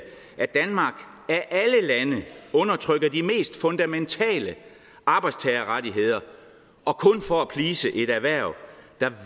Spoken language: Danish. at danmark af alle lande undertrykker de mest fundamentale arbejdstagerrettigheder og kun for at please et erhverv der